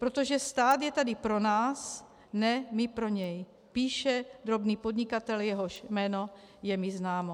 Protože stát je tady pro nás, ne my pro něj - píše drobný podnikatel, jehož jméno je mi známo.